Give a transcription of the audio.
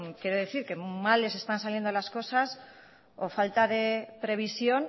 quiero decir que mal les están saliendo las cosas o falta de previsión